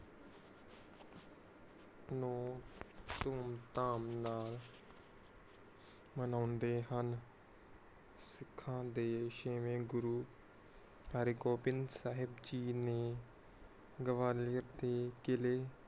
ਧੂਮ ਧਾਮ ਨਾਲ ਮਨੌਂਦੇ ਹਨ ਸਿੱਖਾਂ ਦੇ ਸ਼ੇਵੇਂ ਗੁਰੂ ਹਰਗੋਵਿੰਦ ਸਾਹਿਬ ਜੀ ਨੇ ਗਵਾਲੀਓਰ ਦੇ ਕਿਲੇ